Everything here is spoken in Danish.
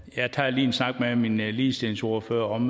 jeg tager lige en snak med min ligestillingsordfører om